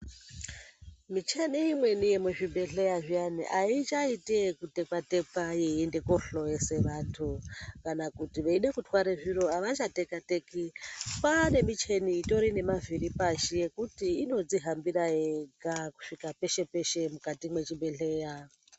Micheni imweni yemuzvibhehleya zviyani aichaiti ekutekwa-tekwa yeienda kohloyesa vanthu, kana kuti veida kutware zviro ava chateka-teki, kwaane micheni itori nemavhiri pashi yekuti inodzihambira yega kusvika peshe -peshe mukati mwechibhehleya.